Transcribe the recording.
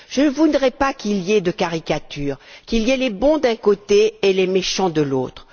Je ne voudrais pas qu'il y ait de caricature, qu'il y ait les bons d'un côté, et les méchants de l'autre.